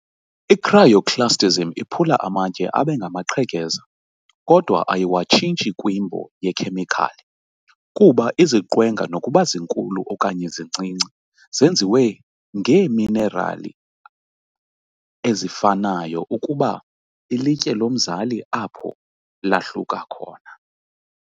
I-Cryoclastism iphula amatye abe ngamaqhekeza, kodwa ayiwatshintshi kwimbo yekhemikhali, kuba iziqwenga, nokuba zinkulu okanye zincinci, zenziwe ngeeminerali ezifanayo ukuba "ilitye lomzali" apho lahluka khona.